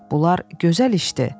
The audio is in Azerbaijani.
Bunlar gözəl işdir.